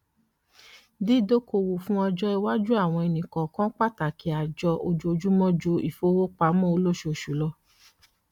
dídókoòwò fún ọjọ iwájú àwọn ẹnì kọọkan pàtàkì àjọ ojoojúmọ ju ìfowópamọ olóṣooṣù lọ